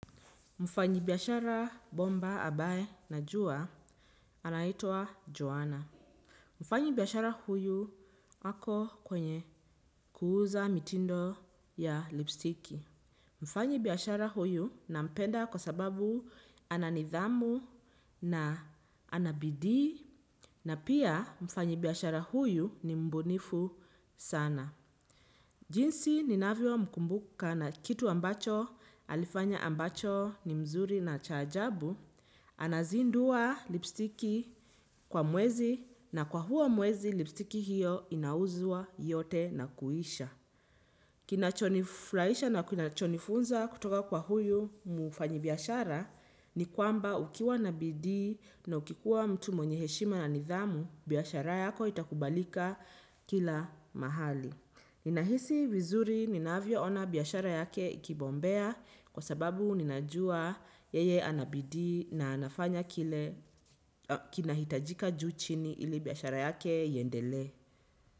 Mfanyi biyashara bomba abaye najuwa anahitwa Joanna. Mfanyi biyashara huyu hako kwenye kuuza mitindo ya lipstiki. Mfanyi biyashara huyu nampenda kwa sababu ana nidhamu na anabidi. Na pia mfanyi biyashara huyu ni mbunifu sana. Jinsi ninavio mkumbuka na kitu ambacho alifanya ambacho ni mzuri na chajabu. Anazindua lipstiki kwa mwezi na kwa huo mwezi lipstiki hiyo inauzua yote na kuisha. Kinachonifraisha na kinachonifunza kutoka kwa huyu mufanyi biyashara ni kwamba ukiwa na bidi na ukikuwa mtu mwenye heshima na nidhamu, biyashara yako itakubalika kila mahali. Ninahisi wizuri ninavyo ona biyashara yake ikibombea kwa sababu ninajua yeye anabidi na anafanya kile kinahitajika juu chini ili biyashara yake yendele.